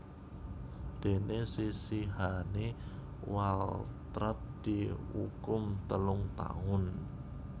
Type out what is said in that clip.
Déné sisihane Waltrat diukum telung taun